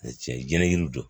Tiɲɛ jɛnɛnɛ jiri don